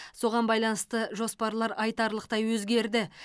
соған байланысты жоспарлар айтарлықтай өзгерді